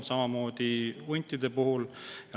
Samamoodi on huntide puhul.